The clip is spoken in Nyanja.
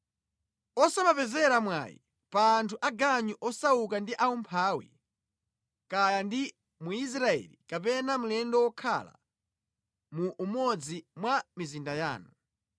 Osamapezera mwayi pa anthu aganyu osauka ndi aumphawi, kaya ndi Mwisraeli kapena mlendo wokhala mu umodzi mwa mizinda yanu.